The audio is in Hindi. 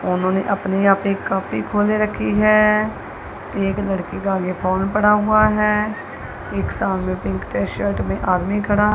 उन्होंने अपने यहा पे कॉपी खोल रखी है एक लड़की का आगे फोन पड़ा हुआ है एक सामने पिंक शर्ट में आदमी खड़ा--